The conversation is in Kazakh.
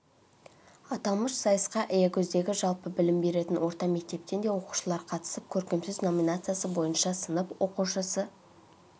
аталмыш сайысқа аягөздегі жалпы білім беретін орта мектептен де оқушылар қатысып көркемсөз номинациясы бойынша сынып оқушысы